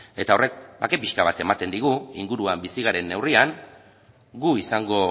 eta horrek bake pixka bat ematen digu inguruan bizi garen neurrian gu izango